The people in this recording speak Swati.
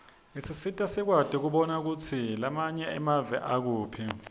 isisita sikwati kubona kutsi lamanye emave akuphi